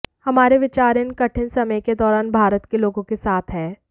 हमारे विचार इन कठिन समय के दौरान भारत के लोगों के साथ हैं